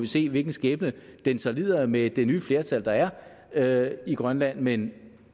se hvilken skæbne den så lider med det nye flertal der er er i grønland men